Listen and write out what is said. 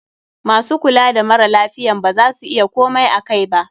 MAsu kula da mara lafiyan ba za su iya komai akai ba.